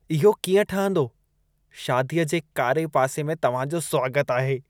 इहो कीअं ठहंदो "शादीअ जे कारे पासे में तव्हां जो स्वागत आहे"